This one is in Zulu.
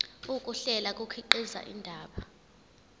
ukuhlela kukhiqiza indaba